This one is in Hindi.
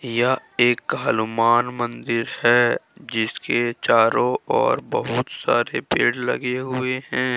यह एक हलूमान मंदिर है जिसके चारों ओर बहुत सारे पेड़ लगे हुए हैं ।